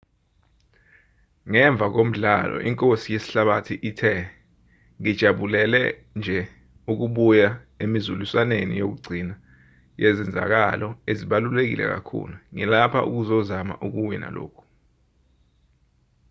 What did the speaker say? ngemva komdlalo inkosi yesihlabathi ithe ngijabulele nje ukubuya emizuliswaneni yokugcina yezenzakalo ezibaluleke kakhulu ngilapha ukuzozama ukuwina lokhu